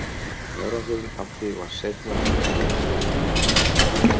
Árangurinn af því var seinna meir Evran.